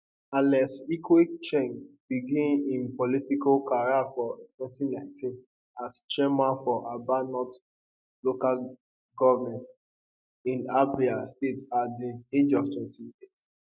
alex ikwechegh begin im poltical career for 2019 as chairman for aba north local goment in abia state at di age of 28